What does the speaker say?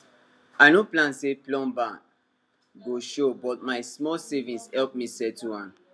i no plan say plumber go show but my small savings help me settle am